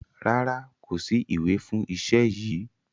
Rárá, kò sí ìwé fún iṣẹ́ yìí.